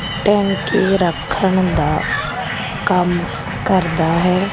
ਟੈਂਕੀ ਰੱਖਣ ਦਾ ਕੰਮ ਕਰਦਾ ਹੈ।